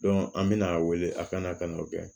an bɛna a wele a kana n'o kɛ